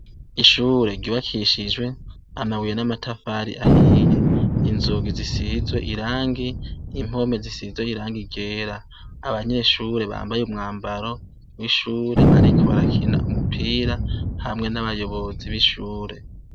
Ishure ryubakishijwe amabuye n'amatafari ahiye inzugi zisizwe irangi impome zisizwe irangi igera abanyeshure bambaye umwambaro w'ishure bariko barakina umupira hamwe n'abayobozi b'ishure.